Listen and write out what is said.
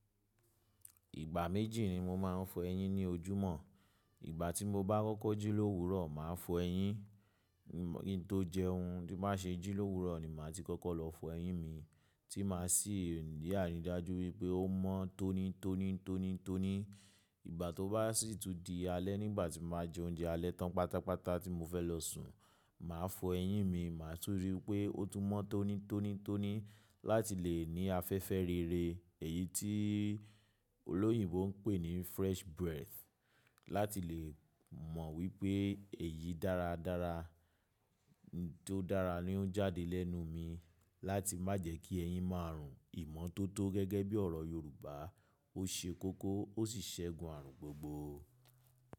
Ìgbà méjì ni mo máa ń fọ eyín ní ojúmọ́. Ìgbà tí mo bá kọ́kọ́ jí l’òwúrọ̀, màá fọ eyín. Ki n tó jẹun tí bá ṣe jí l’òwúrọ̀ ni màá ti kọ́kọ́ lọ fọ eyín mi tí máa sì rí ìdájú pé ó mọ́ tóní tóní tóní tóní. Ìgbà tó bá sì tún di alẹ́ nígbà tí màá jẹ oúnjẹ alẹ́ tán pátápátá tí mo fẹ́ lọ sùn, màá fọ eyín mi. Màá tún ríi pé ó tún mọ́ tóní tóní tóní láti lè ní afẹ́fẹ́ rere, èyí tí olóyìnbo ń pè ní fresh breath. Láti lè mọ̀ wípé èyí dára dára tó dára ni ó ń jáde lẹ́nu mi. Láti má jẹ kí eyín máa rùn. Ìmọ́tótó gẹ́gẹ́ bí ọ̀rọ̀ Yorùbá, ó ṣe kókó ó sì ṣẹ́gun ààrùn gbogbo.